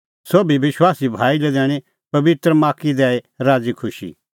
सोभी विश्वासी भाई लै दैणीं पबित्र माख्खी दैई राज़ी खुशी